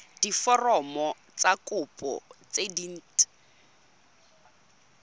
diforomo tsa kopo tse dint